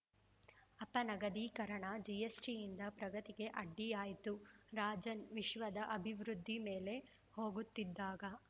ಅಪನಗದೀಕರಣ ಜಿಎಸ್ಟಿಯಿಂದ ಪ್ರಗತಿಗೆ ಅಡ್ಡಿಯಾಯ್ತು ರಾಜನ್‌ ವಿಶ್ವದ ಅಭಿವೃದ್ಧಿ ಮೇಲೆ ಹೋಗುತ್ತಿದ್ದಾಗ